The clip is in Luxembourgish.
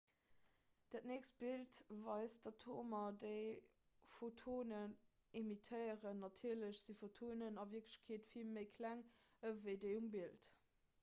dat nächst bild weist d'atomer déi photonen emittéieren natierlech si photonen a wierklechkeet vill méi kleng ewéi déi um bild